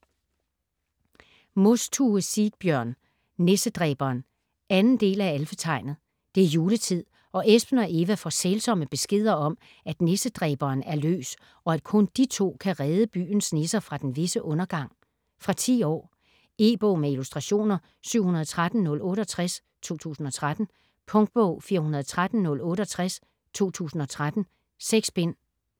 Mostue, Sigbjørn: Nissedræberen 2. del af Alfetegnet. Det er juletid og Espen og Eva får sælsomme beskeder om at Nissedræberen er løs, og at kun de to kan redde byens nisser fra den visse undergang. Fra 10 år. E-bog med illustrationer 713068 2013. Punktbog 413068 2013. 6 bind.